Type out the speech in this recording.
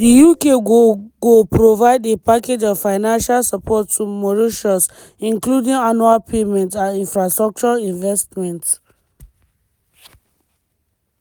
di uk go go provide a package of financial support to mauritius including annual payments and infrastructure investment.